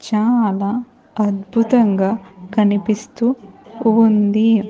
చాలా అద్భుతంగా కనిపిస్తూ ఉంది.